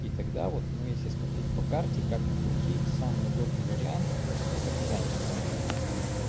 и тогда вот ну если смотреть по карте как ни крути самый удобный вариант это казань